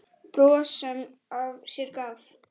Bros sem af sér gaf.